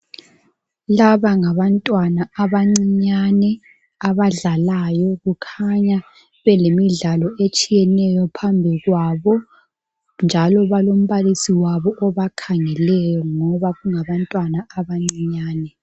Laba ngabantwana abancinyane abadlalayo. Kukhanya belemidlalo etshiyeneyo phambi kwabo njalo balombalisi wabo obakhangeleyo ngoba kungabantwana abancinyane.